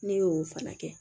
Ne y'o fana kɛ